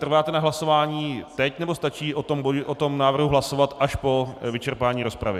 Trváte na hlasování teď, nebo stačí o tom návrhu hlasovat až po vyčerpání rozpravy?